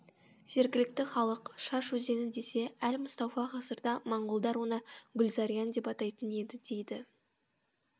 жергілікті халық шаш өзені десе әл мустауфа ғасырда моңғолдар оны гүлзариян деп атайтын еді дейді